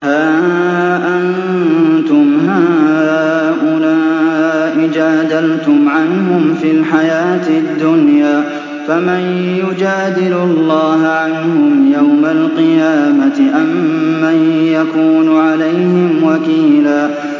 هَا أَنتُمْ هَٰؤُلَاءِ جَادَلْتُمْ عَنْهُمْ فِي الْحَيَاةِ الدُّنْيَا فَمَن يُجَادِلُ اللَّهَ عَنْهُمْ يَوْمَ الْقِيَامَةِ أَم مَّن يَكُونُ عَلَيْهِمْ وَكِيلًا